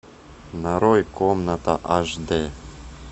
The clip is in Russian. нарой комната аш д